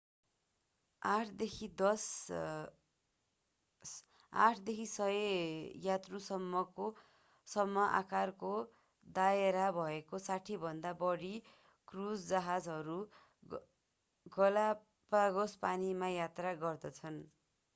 8 देखि 100 यात्रुसम्म आकारको दायरा भएका 60भन्दा बढी क्रूज जहाजहरू गलापागोस पानीमा यात्रा गर्दछन्